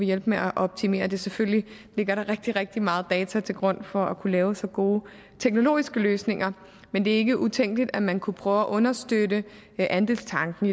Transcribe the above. hjælpe med at optimere det selvfølgelig ligger der rigtig rigtig meget data til grund for at kunne lave så gode teknologiske løsninger men det er ikke utænkeligt at man kunne prøve at understøtte andelstanken